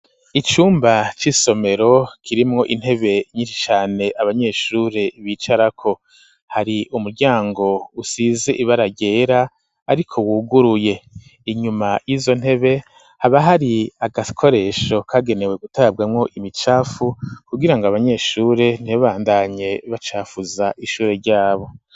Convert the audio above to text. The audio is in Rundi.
Icumba c'isomero kirimwo intebe nyishi cane abanyeshure bicarako hari umuryango usize ibara ryera ariko wuguruye inyuma yizo ntebe haba hari agakoresho kagenewe gutabwamo imicafu kugirango abanyeshure ntibabandanye bacafuza ishure ryabo.